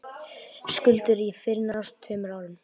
Skuldir fyrnist á tveimur árum